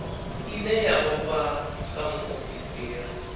ine ya vhofha nga muofisiri